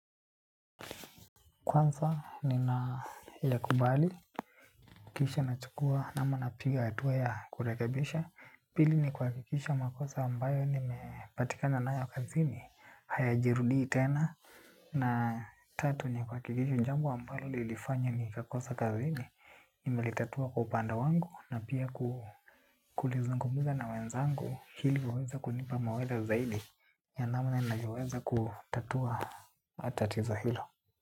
Kwanza, nina yakubali, kisha na chukua, ama na piga hatua ya kurekebisha. Pili ni kuhakikisha makosa ambayo nimepatikana nayo kazini, haya jirudii tena. Na tatu ni kuhakikisha jambo ambalo lilifanya ni kakosa kazini. Nimelitatua kwa upanda wangu na pia kulizungumuza na wenzangu, ili waweze kunipa mawaidha zaidi. Ya namna navyoweza kutatua tatizo hilo.